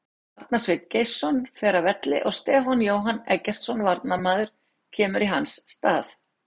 Arnar Sveinn Geirsson fer af velli og Stefán Jóhann Eggertsson varnarmaður kemur í hans stað.